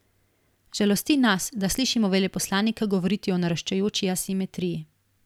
Žalosti nas, da slišimo veleposlanika govoriti o naraščajoči asimetriji.